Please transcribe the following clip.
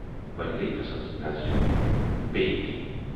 وۅنۍ گٔیہِ تسٕنز نظر بییہِ ٹی۔